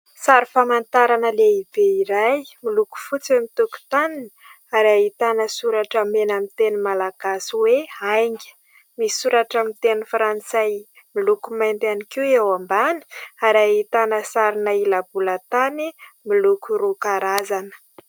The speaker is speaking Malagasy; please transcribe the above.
Sary famantarana lehibe iray miloko fotsy ny tokotaniny ary ahitana soratra mena amin'ny teny malagasy hoe "Ainga". Misy soratra amin'ny teny frantsay miloko mainty ihany koa eo ambany ary ahitana sarina ila-bolantany miloko roa karazana.